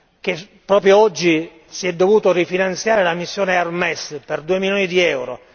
che proprio oggi si è dovuta rifinanziare la missione HERMES per 2 milioni di euro.